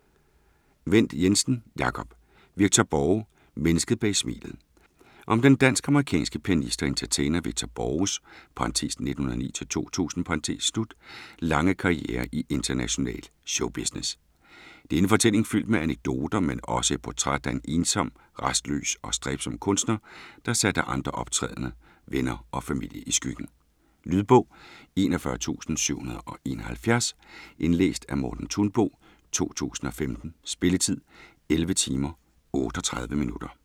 Wendt Jensen, Jacob: Victor Borge - mennesket bag smilet Om den dansk-amerikanske pianist og entertainer Victor Borges (1909-2000) lange karriere i international showbusiness. Det er en fortælling fyldt med anekdoter, men også et portræt af en ensom, rastløs og stræbsom kunstner der satte andre optrædende, venner og familien i skyggen. Lydbog 41771 Indlæst af Morten Thunbo, 2015. Spilletid: 11 timer, 38 minutter.